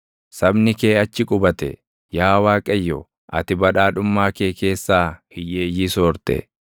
Sabni kee achi qubate; yaa Waaqayyo, ati badhaadhummaa kee keessaa // hiyyeeyyii soorte.